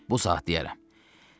Bu saat deyərəm.